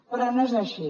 però no és així